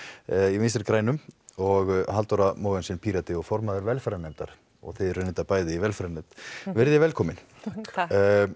í vinstri grænum og Halldóra Mogensen Pírati og formaður velferðarnefndar og þið eru reyndar bæði í velferðarnefnd veriði velkomin takk